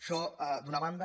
això d’una banda